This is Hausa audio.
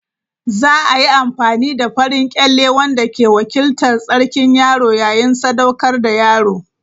Za a yi amfani da farin kyalle wanda ke wakiltar tsarkin yaro yayin sadaukar da yaro.